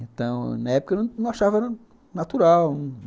Então, na época, eu não achava natural.